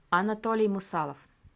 анатолий мусалов